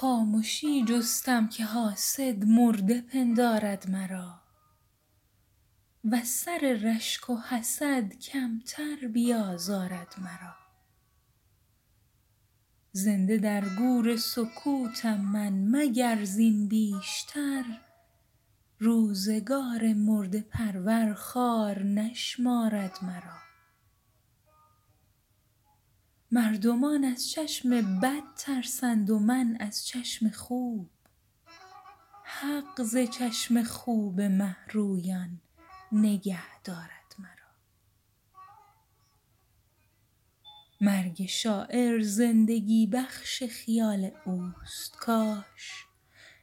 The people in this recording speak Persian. خامشی جستم که حاسد مرده پندارد مرا وز سر رشگ و حسدکمتر بیازارد مرا زنده درگور سکوتم من مگر زین بیشتر روزگار مرده پرور خوار نشمارد مرا مردمان از چشم بد ترسند و من از چشم خوب حق ز چشم خوب مهرویان نگهدارد مرا مرگ شاعر زندگی بخش خیال اوست کاش